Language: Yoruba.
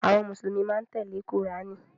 Àwọn Mùsùlùmí máa ń tẹ́lẹ̀ Kùránì.